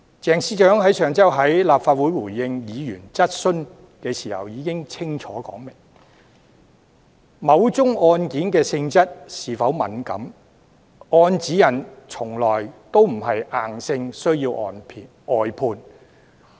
鄭司長上周在立法會回應議員質詢時已清楚說明，根據指引，某宗案件的性質是否敏感，從來不是硬性需要外判的準則。